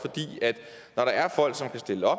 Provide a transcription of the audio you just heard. at når der er folk som kan stille